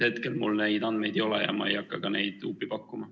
Hetkel mul neid andmeid ei ole ja ma ei hakka neid huupi pakkuma.